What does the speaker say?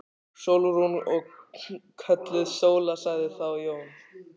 Sólrún. og kölluð Sóla, sagði þá Jón.